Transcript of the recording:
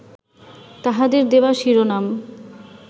তাঁহাদের দেওয়া শিরোনাম